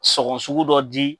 Sɔgɔn sugu dɔ di.